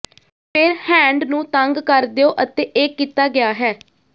ਫਿਰ ਹੈਂਡ ਨੂੰ ਤੰਗ ਕਰ ਦਿਓ ਅਤੇ ਇਹ ਕੀਤਾ ਗਿਆ ਹੈ